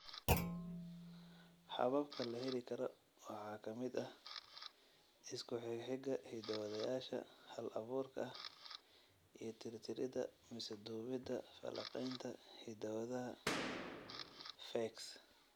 Hababka la heli karo waxaa ka mid ah isku xigxiga hiddo-wadayaasha hal-abuurka ah iyo tirtiridda mise dubidda falanqaynta hidda-wadaha PHEX.